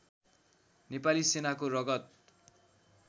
नेपाली सेनाको रगत